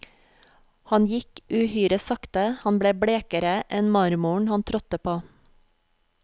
Han gikk uhyre sakte, han ble blekere enn marmoren han trådte på.